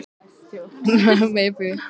Mig langar í viskí, sagði Margrét.